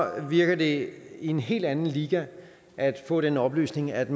virker det fra en helt anden liga at få den oplysning at